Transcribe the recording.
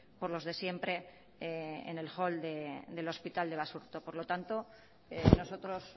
por los de siempre en el hall del hospital de basurto por lo tanto nosotros